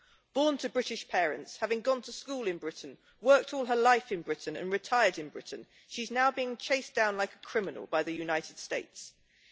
Born to British parents, and having gone to school in Britain, worked all her life in Britain and retired in Britain, she's now being chased down like a criminal by the USA.